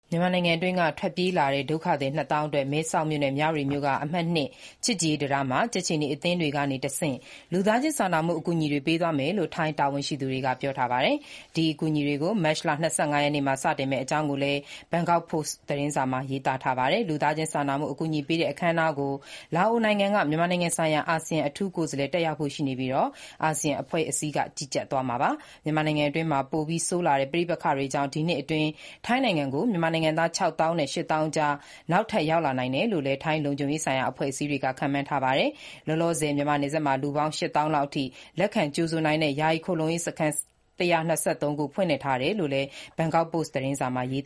မြန်မာနိုင်ငံအတွင်းက ထွက်ပြေးလာတဲ့ ဒုက္ခသည် နှစ်သောင်းအတွက် မဲဆောက်နဲ့ မြဝတီ အမှတ် ၂ ချစ်ကြည်ရေးတံတားကနေ ကြက်ခြေနီအသင်းတွေကတဆင့် လူသားချင်းစာနာမှုအကူအညီပေးမယ့် အစီအစဉ်တွေ ရှေ့သီတင်းပတ် တနင်္လာနေ့ မတ်လ ၂၅ ရက်နေ့မှာ စတင်မယ့်အကြောင်း ထိုင်းတာဝန်ရှိသူတွေ ပြောဆိုတာကို Bangkok Post သတင်းစာမှာ ရေးသားထားပါတယ်။ လူသားချင်းစာနာမှု အကူအညီပေးအပ်တဲ့ အခမ်းအနားကို လာအိုနိုင်ငံက မြန်မာနိုင်ငံဆိုင်ရာအာဆီယံအထူးကိုယ်စားလှယ် Mr. Alounkeo Kittikhoun တက်ရောက်ဖို့ရှိပြီး အကူအညီပေးအပ်တာတွေကို အာဆီယံ အဖွဲ့အစည်းက ကြီးကြပ်သွားမယ့်အကြောင်း သတင်းစာမှာရေးပါတယ်။ မြန်မာနိုင်ငံအတွင်း ပဋိပက္ခအခြေအနေ ပိုပြီး ဆိုးလာတဲ့အတွက် ဒီနှစ်အတွင်း ထိုင်းနိုင်ငံကို နောက်ထပ် မြန်မာနိုင်ငံသား ခြောက်သောင်းနဲ့ ရှစ်သောင်းအကြား ထပ်ရောက်လာနိုင်တယ်လို့လည်း ထိုင်းလုံခြုံရေးဆိုင်ရာ အဖွဲ့အစည်းတွေက ခန့်မှန်းထားပါတယ်။ လောလောဆယ် မြန်မာနယ်ခြားမှာ လူပေါင်း ရှစ်သောင်းလောက်အထိ လက်ခံကြိုဆိုနိုင်တဲ့ ယာယီခိုလှုံရေးစခန်း ၁၂၃ ခု ဖွင့်ထားတဲ့အကြောင်း Bagkok Post သတင်းစာမှာ ရေး